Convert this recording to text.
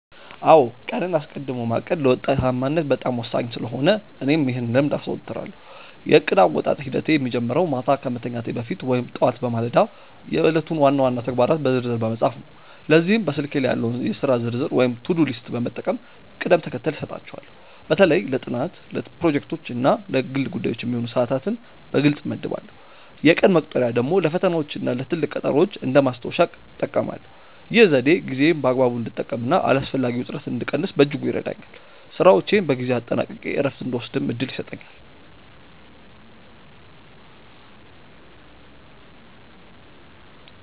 አዎ ቀንን አስቀድሞ ማቀድ ለውጤታማነት በጣም ወሳኝ ስለሆነ እኔም ይህን ልምድ አዘወትራለሁ። የእቅድ አወጣጥ ሂደቴ የሚጀምረው ማታ ከመተኛቴ በፊት ወይም ጠዋት በማለዳ የዕለቱን ዋና ዋና ተግባራት በዝርዝር በመጻፍ ነው። ለዚህም በስልኬ ላይ ያለውን የሥራ ዝርዝር ወይም ቱዱ ሊስት በመጠቀም ቅደም ተከተል እሰጣቸዋለሁ። በተለይ ለጥናት፣ ለፕሮጀክቶች እና ለግል ጉዳዮች የሚሆኑ ሰዓታትን በግልጽ እመድባለሁ። የቀን መቁጠሪያ ደግሞ ለፈተናዎችና ለትልቅ ቀጠሮዎች እንደ ማስታወሻ እጠቀማለሁ። ይህ ዘዴ ጊዜዬን በአግባቡ እንድጠቀምና አላስፈላጊ ውጥረትን እንድቀንስ በእጅጉ ይረዳኛል። ስራዎቼን በጊዜ አጠናቅቄ እረፍት እንድወስድም እድል ይሰጠኛል።